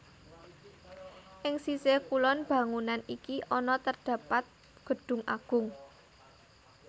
Ing sisih kulon bangunan iki ana terdapat Gedung Agung